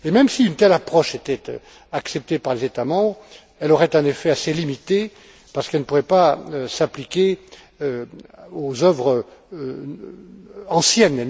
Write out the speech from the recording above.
Et même si une telle approche était acceptée par les États membres, elle aurait un effet assez limité parce qu'elle ne pourrait pas s'appliquer aux œuvres anciennes.